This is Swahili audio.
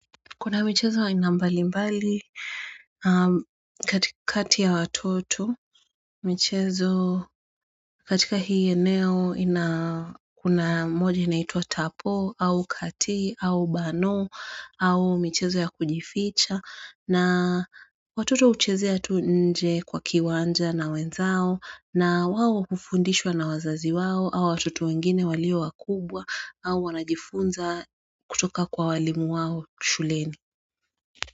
Kuna michezo aina mbalimbali katika kati ya watoto michezo katika hii eneo inakuna moja inaituwa tapo au kati au bano au michezo ya kujificha na watoto uchezea tu nje kwa kiwanja na wenzao na wawo kufundishwa na wazazi wawo au watoto wengine walio wakubwa au wanajifunza kutoka kwa walimu wao shuleni.